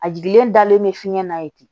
A jiginlen dalen bɛ fiɲɛ na ye ten